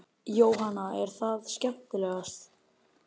Jóhanna: Er það skemmtilegast?